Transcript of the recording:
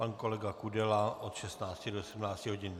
Pan kolega Kudela od 16 do 17 hodin.